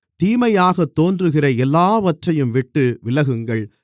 தீமையாகத் தோன்றுகிற எல்லாவற்றையும்விட்டு விலகுங்கள்